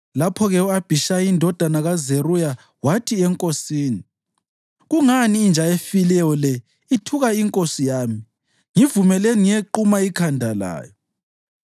Lapho-ke u-Abhishayi indodana kaZeruya wathi enkosini, “Kungani inja efileyo le ithuka inkosi yami? Ngivumelani ngiyequma ikhanda layo.”